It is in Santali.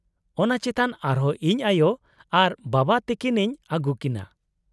-ᱚᱱᱟ ᱪᱮᱛᱟᱱ ᱟᱨᱦᱚᱸ ᱤᱧ ᱟᱭᱳ ᱟᱨ ᱵᱟᱵᱟ ᱛᱟᱹᱠᱤᱱᱤᱧ ᱟᱹᱜᱩ ᱠᱤᱱᱟᱹ ᱾